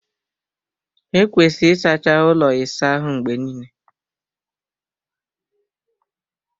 Ekwesịrị ịsacha ụlọ ịsa ahụ mgbe niile.